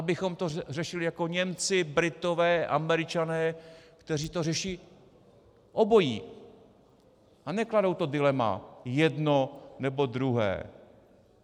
Abychom to řešili jako Němci, Britové, Američané, kteří to řeší obojí a nekladou to dilema - jedno, nebo druhé.